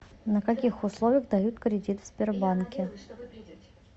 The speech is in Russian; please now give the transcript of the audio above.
на каких условиях дают кредит в сбербанке